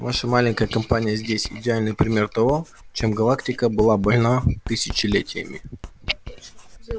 ваша маленькая компания здесь идеальный пример того чем галактика была больна тысячелетиями